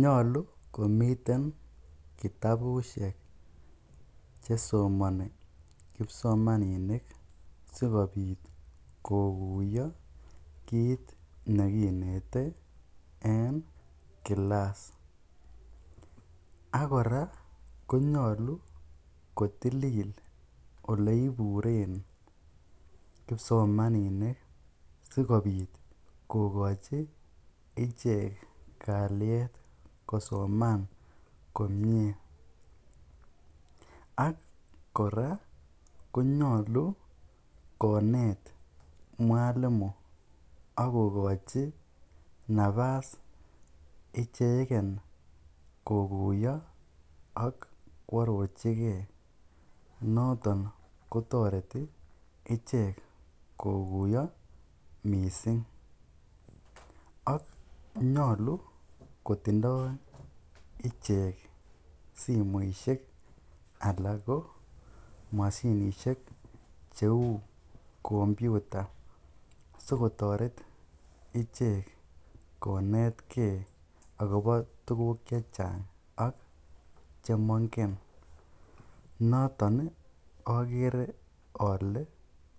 Nyolu komiten kitabushek chesomoni kipsomaninik sikobit kokuyo kiit nekinete eng kilass akora konyolu kotilil oleiburen kipsomaninik sikopit kokochi ichek kaliet kosoman komie ak Kora konyolu konet mwalimo akokochi napas icheken kokuyo ak koarorchikei noton kotoreti ichek kokuyo missing ak nyolu kotindoi ichek simoishek alak ko mashinishek cheu kompyuta sikotoret ichek konetkei akobo tukuk che chang ak chemaingen noton akere ale